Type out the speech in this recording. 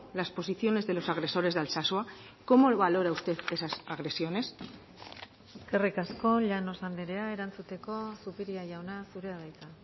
las posiciones de los agresores de alsasua cómo valora usted esas agresiones eskerrik asko llanos andrea erantzuteko zupiria jauna zurea da hitza